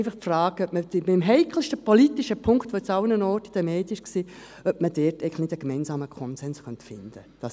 Die Frage ist einfach, ob man beim heikelsten politischen Punkt, der jetzt überall in den Medien war, nicht einen gemeinsamen Konsens finden könnte.